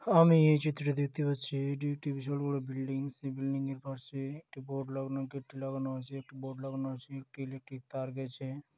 আমি এই চিত্রটিতে দেখতে পাচ্ছি এটি একটি বিশাল বড়ো বিল্ডিংস এই বিল্ডিং এর পাশে একটি বোর্ড লাগানো গেট টি লাগানো আছে একটি বোর্ড লাগানো আছে একটি ইলেকট্রিক তার গেছে।